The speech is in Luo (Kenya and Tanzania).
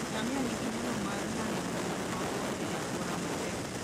Ngamia nigi nyalo mar nano e wuoth mabor e alwora matek.